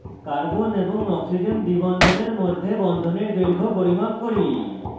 carbon এবং oxygen দ্বিবন্ধনের মধ্যে বন্ধনের দৈর্ঘ্য পরিমাপ করি